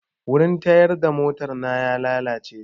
Wurin tayar da mota na ya lalace jiya